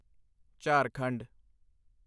Jharkhand